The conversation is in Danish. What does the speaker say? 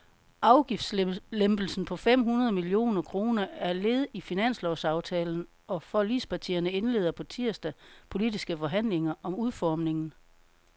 Afgiftslempelsen på fem hundrede millioner kroner er led i finanslovsaftalen, og forligspartierne indleder på tirsdag politiske forhandlinger om udformningen.